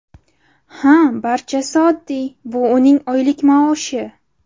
Ha, barchasi oddiy, bu uning oylik maoshi.